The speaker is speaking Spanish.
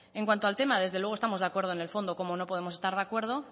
en cuanto al tema desde luego estamos de acuerdo en el fondo cómo no podemos estar de acuerdo